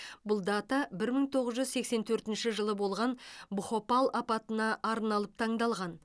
бұл дата бір мың тоғыз жүз сексен төртінші жылы болған бхопал апатына арналып таңдалған